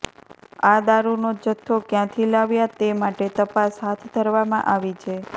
આ દારૂનો જથ્થો ક્યાંથી લાવ્યા તે માટે તપાસ હાથ ધરવામાં આવી છે